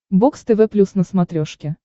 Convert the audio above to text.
бокс тв плюс на смотрешке